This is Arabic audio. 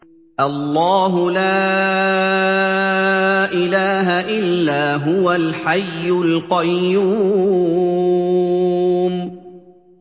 اللَّهُ لَا إِلَٰهَ إِلَّا هُوَ الْحَيُّ الْقَيُّومُ